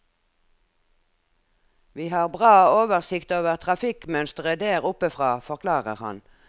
Vi har bra oversikt over trafikkmønsteret der oppe fra, forklarer han.